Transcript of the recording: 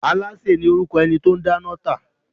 Alááṣè ni orúkọ ẹni tó o n dáná tà